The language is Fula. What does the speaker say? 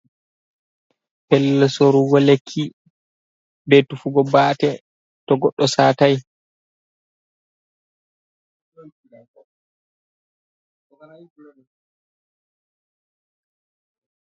Pellel sorugo lekki, be tufugo bate, to goɗɗo satai.